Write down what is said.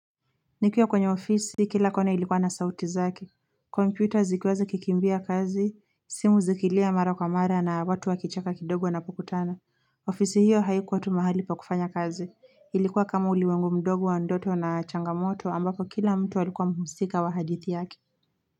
Nikiwa kwenye ofisi, kila kona ilikuwa na sauti zaki. Komputa zikiwaza zikikimbia kazi, simu zikilia mara kwa mara na watu wakichaka kidogo wanapokutana. Ofisi hiyo haikuwa tu mahali pa kufanya kazi. Ilikuwa kama ulimwengu mdogo wa ndoto na changamoto ambako kila mtu walikuwa mhusika wa hadithi yaki.